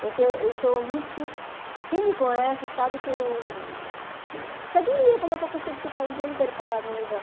Porque eu sou muito... Quem me conhece sabe que eu... Você admira como é que eu consigo ficar o dia inteiro parada no lugar.